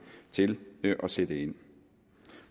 til at sætte ind